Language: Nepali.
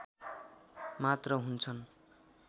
मात्र हुन्छन्